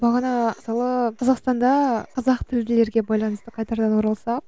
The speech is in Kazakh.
бағана асылы қазақстанда қазақ тілділерге байланысты қайтадан оралсақ